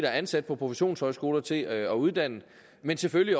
ansat på professionshøjskoler til at uddanne men selvfølgelig